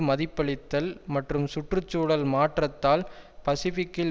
மதிப்பளித்தல் மற்றும் சுற்று சூழல் மாற்றத்தால் பசிபிக்கில்